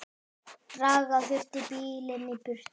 Draga þurfti bílinn í burtu.